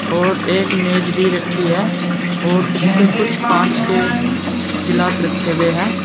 और एक मेज भी रखी है और उसे पर कुछ कांच के गिलास रखे हुए हैं।